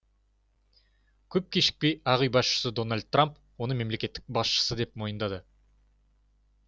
көп кешікпей ақ үй басшысы дональд трамп оны мемлекет басшысы деп мойындады